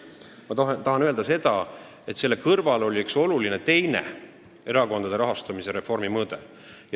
Aga ma tahan öelda, et selle kõrval oli üks teine oluline erakondade rahastamise reformi mõõde.